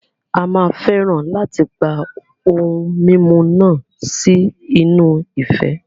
A máa fẹ́ràn láti gba ohun mímu náà sí inú ife.